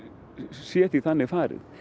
sé því þannig farið